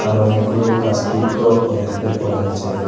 আরো অনেকগুলো গাছ বৃক্ষ ও দেখতে পাওয়া যাচ্ছে।